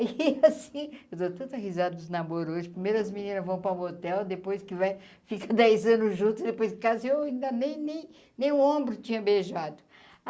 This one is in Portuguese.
E, assim, eu dou tanta risada dos namoros hoje, primeiro as meninas vão para o motel, depois que vai ficar dez anos juntos, depois que casa, e eu ainda nem nem nem o ombro tinha beijado.